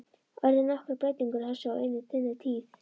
Urðu nokkrar breytingar á þessu á þinni tíð?